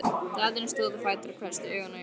Daðína stóð á fætur og hvessti augun á Jón.